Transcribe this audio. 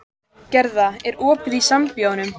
Snerist á hæli og strunsaði fram á gang.